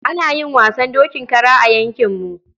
Ana yin wasan dokin kara a yankinmu.